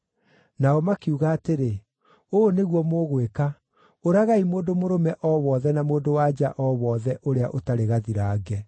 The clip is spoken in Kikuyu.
Nao makiuga atĩrĩ, “Ũũ nĩguo mũgwĩka, ũragai mũndũ mũrũme o wothe na mũndũ-wa-nja o wothe ũrĩa ũtarĩ gathirange.”